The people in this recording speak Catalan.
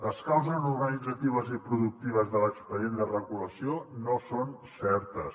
les causes organitzatives i productives de l’expedient de regulació no són certes